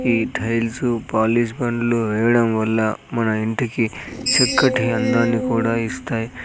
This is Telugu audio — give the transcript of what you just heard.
ఈ టైల్సు పాలిష్ బండ్లు వేయడం వల్ల మన ఇంటికి చక్కటి అందాన్ని కూడా ఇస్తాయి.